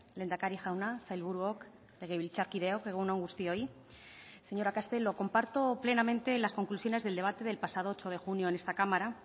lehendakari jauna sailburuok legebiltzarkideok egun on guztioi señora castelo comparto plenamente las conclusiones del debate del pasado ocho de junio en esta cámara